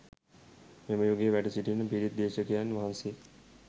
මෙම යුගයේ වැඩ සිටින පිරිත් දේශකයන් වහන්සේ